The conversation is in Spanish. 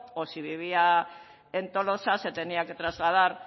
o si vivía en tolosa se tenía que trasladar